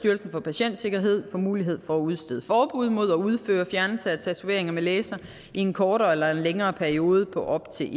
for patientsikkerhed mulighed for at udstede forbud mod at udføre fjernelse af tatoveringer med laser i en kortere eller længere periode på op til